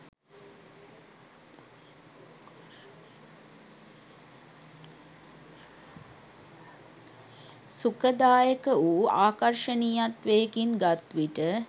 සුඛදායක වූ ආකර්ෂණීයත්වයකින් ගත්විට